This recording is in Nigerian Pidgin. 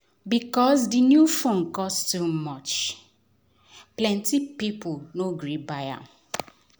because di new phone cost too much plenty people no gree buy am